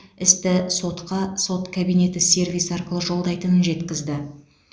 істі сотқа сот кабинеті сервисі арқылы жолдайтынын жеткізді